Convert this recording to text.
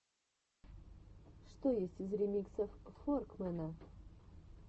что есть из ремиксов форкмэна